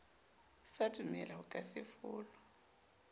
sa dumele ho ka fefolwa